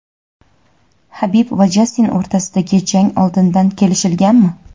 Habib va Jastin o‘rtasidagi jang oldindan kelishilganmi?.